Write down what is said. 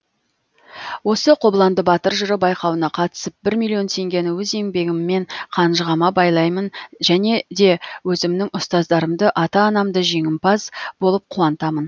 осы қобыланды батыр жыры байқауына қатысып бір миллион теңгені өз еңбегіммен қанжығама байлаймын және де өзімнің ұстаздарымды ата анамды жеңімпаз болып қуантамын